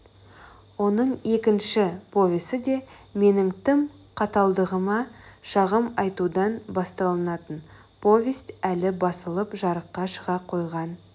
оның екінші повесі де менің тым қаталдығыма шағым айтудан басталатын повесть әлі басылып жарыққа шыға қойған